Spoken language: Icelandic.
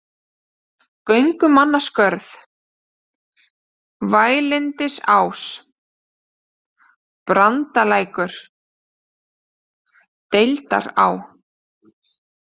Göngumannaskörð, Vælindisás, Brandalækur, Deildará